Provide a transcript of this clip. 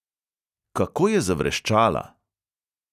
Kako je zavreščala!